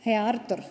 Hea Artur!